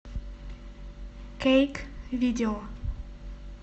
кейк видео